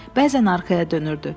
Bəzən arxaya dönürdü.